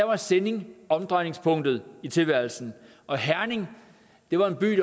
var sinding omdrejningspunktet i tilværelsen og herning var en by